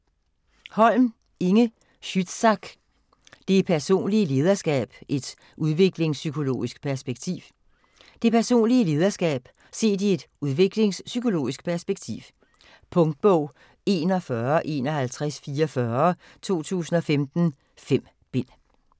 Holm, Inge Schützsack: Det personlige lederskab et udviklingspsykologisk perspektiv Det personlige lederskab set i et udviklingspsykologisk perspektiv. Punktbog 415144 2015. 5 bind.